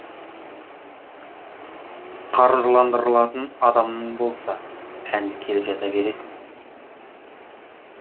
қаржыландырылатын адамың болса әнді келіп жаза бересің